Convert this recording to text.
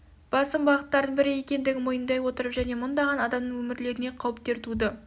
басым бағыттардың бірі екендігін мойындай отырып және мыңдаған адамның өмірлеріне қауіптер туды